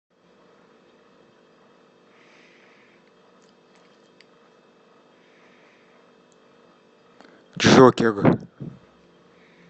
джокер